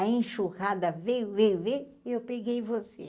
a enxurrada veio, veio, veio e eu peguei você.